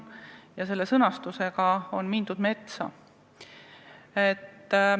Ja selle sõnastusega on mindud metsa.